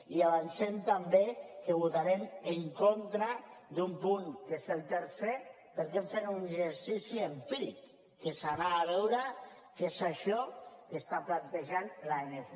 i avancem també que votarem en contra d’un punt que és el tercer perquè hem fet un exercici empíric que és anar a veure què és això que està plantejant l’anc